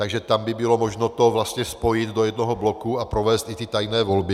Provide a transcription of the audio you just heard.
Takže tam by bylo možno to vlastně spojit do jednoho bloku a provést i ty tajné volby.